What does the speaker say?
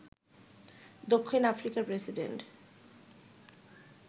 দক্ষিণ আফ্রিকার প্রেসিডেন্ট